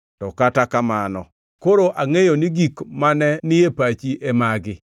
“To kata kamano, koro angʼeyo ni gik mane ni e pachi e magi: